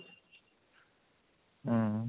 ହୁଁ